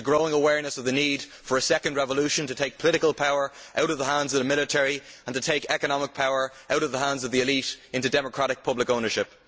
There is a growing awareness of the need for a second revolution to take political power out of the hands of the military and to take economic power out of the hands of the elite into democratic public ownership.